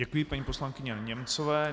Děkuji paní poslankyni Němcové.